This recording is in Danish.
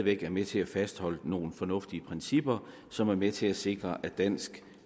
væk er med til at fastholde nogle fornuftige principper som er med til at sikre at dansk